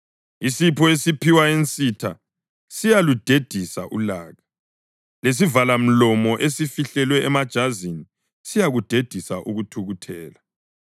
Isipho esiphiwa ensitha siyaludedisa ulaka, lesivalamlomo esifihlwe emajazini siyakudedisa ukuthukuthela.